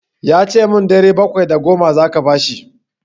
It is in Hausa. Ya ce min ɗari bakwai da goma za ka bashi.